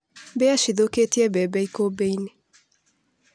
Mbĩa cithũkĩtie bembe ikũmbĩinĩ.